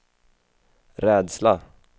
rädsla